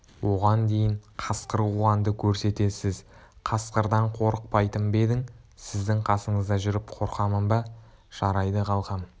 оған дейін қасқыр қуғанды көрсетесіз қасқырдан қорықпайтын ба едің сіздің қасыңызда жүріп қорқамын ба жарайды қалқам